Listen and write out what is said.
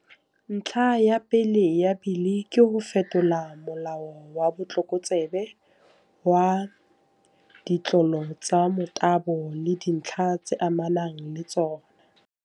Ntlha ya pele ya Bili ke ho fetola Molao wa Botlokotsebe wa, Ditlolo tsa Motabo le Dintlha tse Amanang le Tsona.